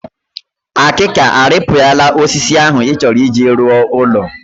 Akịka o rịpịara osisi ahụ ị chọrọ iji rọ ụlọ?